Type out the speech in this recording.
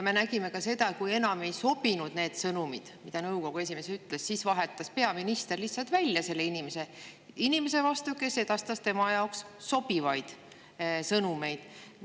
Me nägime seda, et kui enam ei sobinud need sõnumid, mida nõukogu esimees ütles, siis vahetas peaminister ta lihtsalt välja inimese vastu, kes edastas tema jaoks sobivaid sõnumeid.